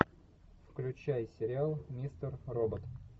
включай сериал мистер робот